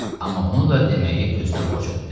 Amma bunu da deməyi özünə borc bildi.